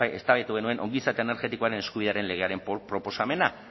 eztabaidatu genuen ongizate energetikoaren eskubidearen legearen proposamena